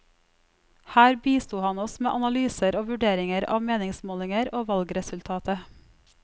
Her bisto han oss med analyser og vurderinger av meningsmålinger og valgresultatet.